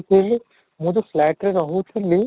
ଥିଲି ମୁଁ ତ flat ରେ ରହୁଥିଲି